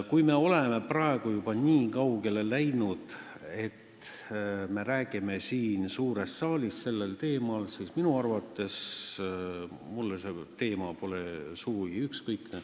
Kui me oleme praegu juba nii kaugele jõudnud, et me siin suures saalis sellel teemal räägime, siis ütlen, et mulle pole see teema sugugi ükskõik.